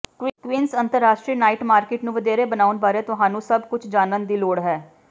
Queens ਅੰਤਰਰਾਸ਼ਟਰੀ night market ਨੂੰ ਵਧੇਰੇ ਬਣਾਉਣ ਬਾਰੇ ਤੁਹਾਨੂੰ ਸਭ ਕੁਝ ਜਾਣਨ ਦੀ ਲੋੜ ਹੈ